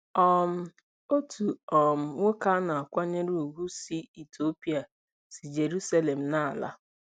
um OTU um NWOKE a na-akwanyere ùgwù si Itiopia si Jeruselem na-ala.